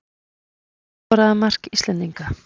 Hver skoraði mark Íslendinga?